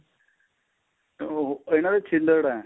ਉਹ ਇਹਨਾ ਦੇ ਛਿੱਲੜ ਏ